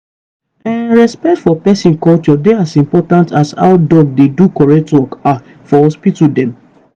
hmmm respect for peson culture dey as important as how doc dey do correct work ah for hospital dem.